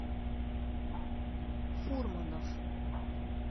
фурманов